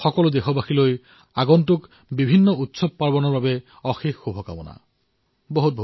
সকলো দেশবাসীলৈ আগন্তুক পৰ্বসমূহৰ বাবে অশেষ শুভকামনা থাকিল